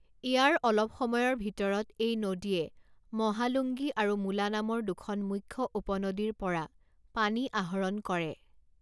ইয়াৰ অলপ সময়ৰ ভিতৰত এই নদীয়ে মহালুংগী আৰু মুলা নামৰ দুখন মুখ্য উপনদীৰ পৰা পানী আহৰণ কৰে।